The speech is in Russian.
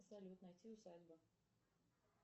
салют найти усадьба